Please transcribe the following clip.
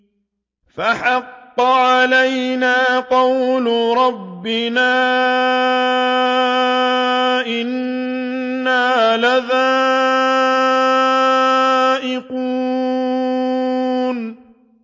فَحَقَّ عَلَيْنَا قَوْلُ رَبِّنَا ۖ إِنَّا لَذَائِقُونَ